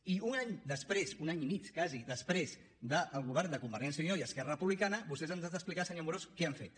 i un any després un any i mig quasi després del govern de convergència i unió i esquerra republicana vostès ens han d’explicar senyor amorós què han fet